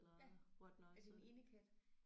Ja er det en indekat?